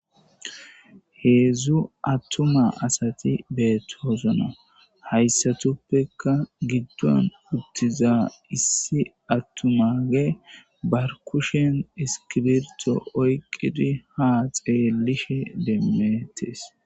Heedzdzu attuma asati beettoosona hayssatuppekka giddon uttiza issi attumage barkushen iskibirto oyqidi ha xeellishe demmettes.